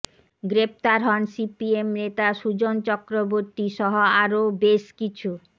গ্রেফতার হন সিপিএম নেতা সুজন চক্রবর্তী সহ আরও বেশ কিছু